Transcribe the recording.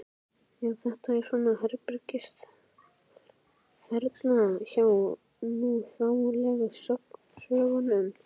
Já, þetta er svona herbergisþerna hjá núþálegu sögnunum.